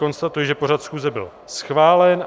Konstatuji, že pořad schůze byl schválen.